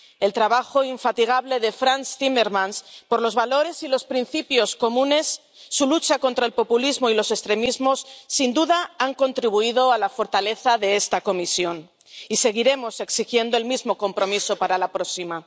El trabajo infatigable de Frans Timmermans por los valores y los principios comunes, su lucha contra el populismo y los extremismos, sin duda han contribuido a la fortaleza de esta Comisión, y seguiremos exigiendo el mismo compromiso para la próxima.